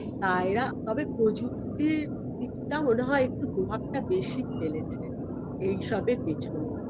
তা এরা তবে প্রযুক্তির দিকটা মনে হয় একটু প্রভাবটা বেশি ফেলেছে এইসবের পেছনে